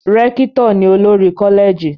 Rékítò ni olórí Kọ́lẹ̀gì